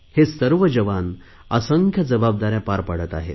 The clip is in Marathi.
हे सर्व जवान असंख्य जबाबदाऱ्या पार पाडत आहेत